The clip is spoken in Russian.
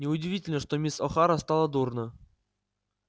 неудивительно что мисс охара стало дурно